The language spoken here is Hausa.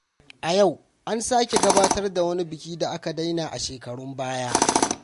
A yau, an sake gabatar da wani biki da aka daina a shekarun baya.